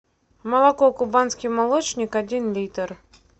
молоко кубанский молочник один литр